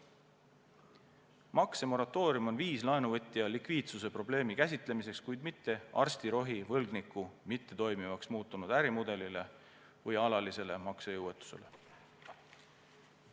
Maksemoratoorium on viis laenuvõtja likviidsusprobleemi käsitlemiseks, kuid mitte arstirohi võlgniku mittetoimivaks muutunud ärimudelile või alalisele maksejõuetusele.